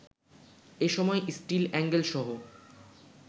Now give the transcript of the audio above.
এসময় স্টীল এ্যাঙ্গেলসহ